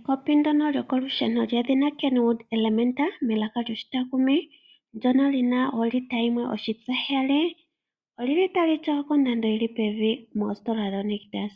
Ekopi ndono lyokolusheni lyedhina Kenwood Elementa melaka lyoshitakumi ndyono lina olita yimwe oshitsa heyali, olili tali tyawa kondando yili pevi mositola yoNictus.